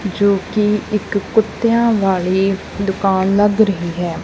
ਜੋ ਕਿ ਇੱਕ ਕੁੱਤਿਆਂ ਵਾਲੀ ਦੁਕਾਨ ਲੱਗ ਰਹੀ ਹੈ।